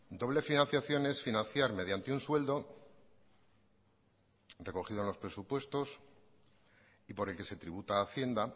doble financiación es financiar mediante un sueldo recogido en los presupuestos y por el que se tributa a hacienda